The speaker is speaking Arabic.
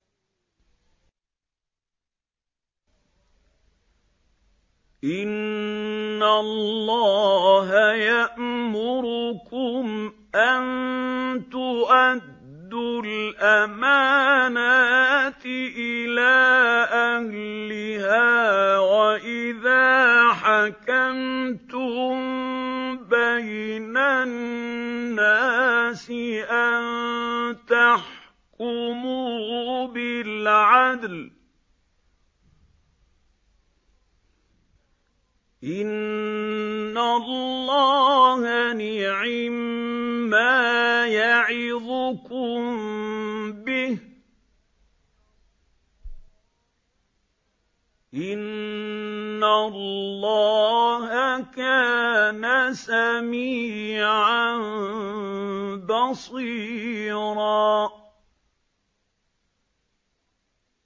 ۞ إِنَّ اللَّهَ يَأْمُرُكُمْ أَن تُؤَدُّوا الْأَمَانَاتِ إِلَىٰ أَهْلِهَا وَإِذَا حَكَمْتُم بَيْنَ النَّاسِ أَن تَحْكُمُوا بِالْعَدْلِ ۚ إِنَّ اللَّهَ نِعِمَّا يَعِظُكُم بِهِ ۗ إِنَّ اللَّهَ كَانَ سَمِيعًا بَصِيرًا